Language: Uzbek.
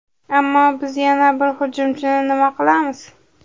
Ammo biz yana bir hujumchini nima qilamiz?